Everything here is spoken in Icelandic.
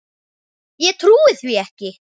Ég trúi því ekki,